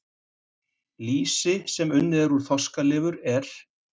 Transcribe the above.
Lýsi sem unnið er úr fiskalifur er